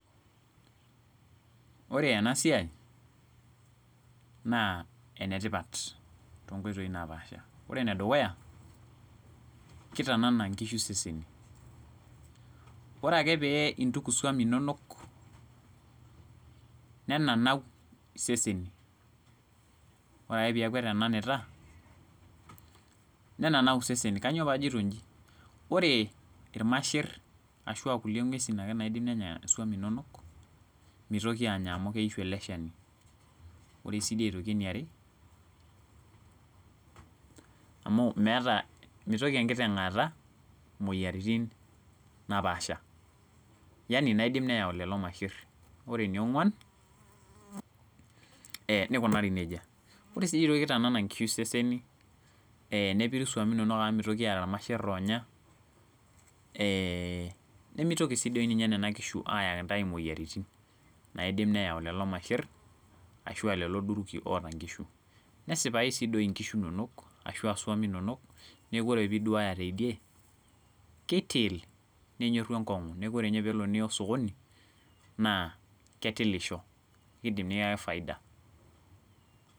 Ore ena siai naa enetipat too nkoitoi naapasha. Ore ene dukuya, kitanana inkishu iseseni. Ore ake pee intuku iswami inonok nenanau iseseni. Ore ake peeku itananita, nenanau iseseni. Kaainyio paajito ijin? Ore irmasher ashua kulie ng'uesin nadim ake nenya iswamii nonok mitoki anya amu keishu ele shani. Ore sii duo aitoki eniare amu meeta, mitoki enkiteng' aata moyiaritin naapasha. yaani naidim neyau lelo masher. Ore ene ong'uan nikunari nejia. Ore sii nitananan nkishu seseni, nepira iswamii inonok amu mitoki aata masher loonya nemetoki naa ninche nena kishu ayaki ntae moyiaritin naidim neyau lelo masher ashu lelo duruki oota nkishu. Nesipa sii nkishu neno ashu swami inonok neeku ore piduaya tedie kitil. Nenyoru enkong'u. Neeku ore pelo niya osokoni naa ketilisho neidim nikiyaki faida.